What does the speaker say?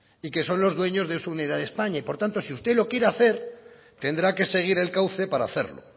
y que son los dueños de su unidad de españa y por tanto si usted lo quiere hacer tendrá que seguir el cauce para hacerlo